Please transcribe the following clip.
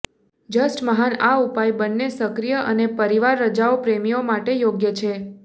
just મહાન આ ઉપાય બંને સક્રિય અને પરિવાર રજાઓ પ્રેમીઓ માટે યોગ્ય છે